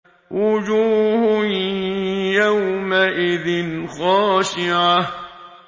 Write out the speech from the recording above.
وُجُوهٌ يَوْمَئِذٍ خَاشِعَةٌ